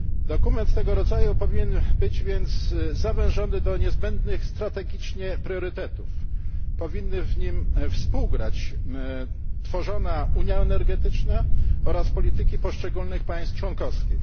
Dokument tego rodzaju powinien być więc zawężony do niezbędnych strategicznie priorytetów. Powinny w nim współgrać tworzona unia energetyczna oraz polityki poszczególnych państw członkowskich.